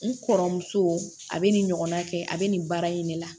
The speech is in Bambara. N kɔrɔmuso a bɛ nin ɲɔgɔn na kɛ a bɛ nin baara in de la